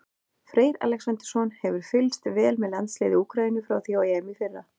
Freyr Alexandersson hefur fylgst vel með landsliði Úkraínu frá því á EM í fyrra.